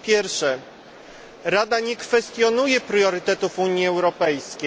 Po pierwsze, Rada nie kwestionuje priorytetów Unii Europejskiej.